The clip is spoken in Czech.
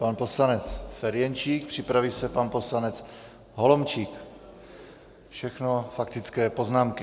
Pan poslanec Ferjenčík, připraví se pan poslanec Holomčík, všechno faktické poznámky.